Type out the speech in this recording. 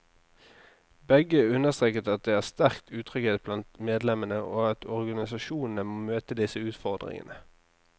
Begge understreket at det er sterk utrygghet blant medlemmene, og at organisasjonene må møte disse utfordringene.